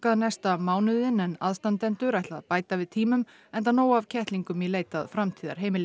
næsta mánuðinn en aðstandendur ætla að bæta við tímum enda nóg af kettlingum í leit að framtíðarheimili